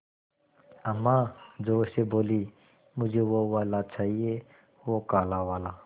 अम्मा ज़ोर से बोलीं मुझे वो वाला चाहिए वो काला वाला